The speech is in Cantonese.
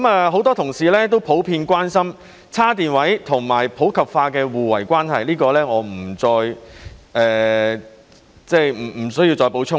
很多同事普遍關心充電車位和電動車普及化的互為關係，我不想就此再作補充。